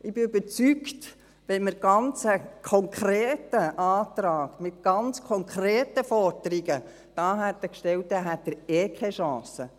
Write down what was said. Ich bin überzeugt, wenn man einen ganz konkreten Antrag mit ganz konkreten Forderungen gestellt hätte, hätte er sowieso keine Chance.